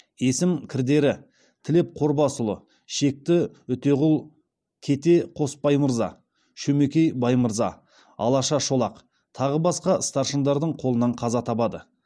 есім кірдері тілеп қорбасұлы шекті үтеғұл кете қосбаймырза шөмекей баймырза алаша шолақ тағы басқа старшындардың қолынан қаза табады